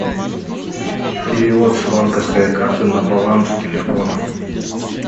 перевод с банковской карты на баланс телефона